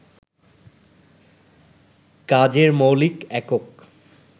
কাজের মৌলিক একক